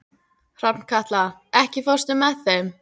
Hrafnkatla, ekki fórstu með þeim?